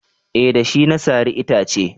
eh da shi na sare itace